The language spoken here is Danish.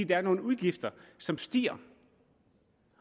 der er nogle udgifter som stiger